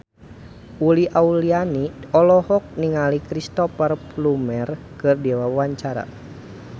Uli Auliani olohok ningali Cristhoper Plumer keur diwawancara